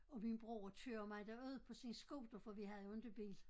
Og min bror kører mig derud på sin scooter for vi havde jo inte bil